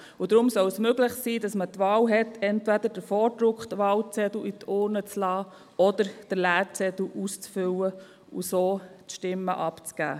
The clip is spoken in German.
Deshalb soll es möglich sein, die Wahl zu haben, um entweder den vorgedruckten Wahlzettel in die Urne zu geben oder den leeren Zettel auszufüllen und so Stimmen abzugeben.